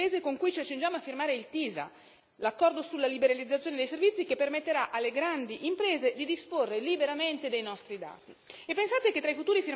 Ma ancora di più questo è il paese con cui ci accingiamo a firmare il TISA, l'accordo sulla liberalizzazione dei servizi, che permetterà alle grandi imprese di disporre liberamente dei nostri dati.